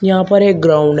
यहां पर एक ग्राउंड है।